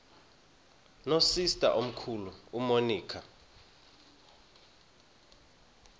nosister omkhulu umonica